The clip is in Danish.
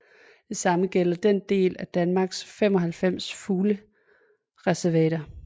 Det samme gælder i en del af Danmarks 95 fuglereservater